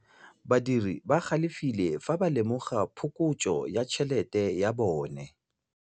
Badiri ba galefile fa ba lemoga phokotsô ya tšhelête ya bone.